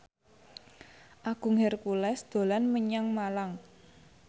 Agung Hercules dolan menyang Malang